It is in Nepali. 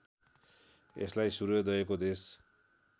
यसलाई सूर्योदयको देश